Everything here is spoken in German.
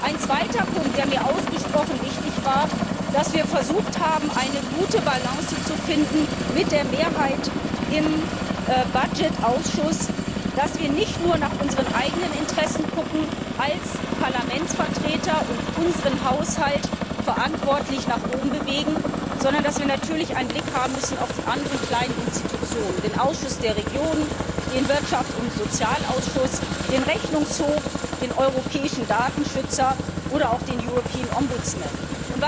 Ein zweiter Punkt, der mir ausgesprochen wichtig war, ist, dass wir versucht haben, eine gute Balance zu finden mit der Mehrheit im Haushaltsausschuss, dass wir nicht nur nach unseren eigenen Interessen gucken als Parlamentsvertreter und unseren Haushalt verantwortlich nach oben bewegen, sondern dass wir natürlich einen Blick haben müssen auf die anderen kleinen Institutionen den Ausschuss der Regionen, den Wirtschafts und Sozialausschuss, den Rechnungshof, den Europäischen Datenschutzbeauftragten oder auch den Europäischen Bürgerbeauftragten.